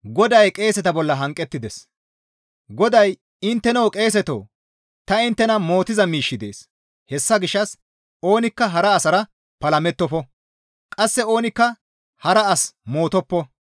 GODAY, «Intteno qeeseto ta inttena mootiza miishshi dees; hessa gishshas oonikka hara asara palamettofo; qasse oonikka hara as mootoppo.